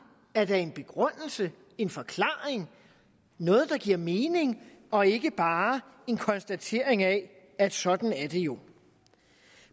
er da en begrundelse en forklaring noget der giver mening og ikke bare en konstatering af at sådan er det jo